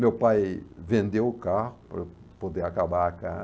Meu pai vendeu o carro para eu poder acabar a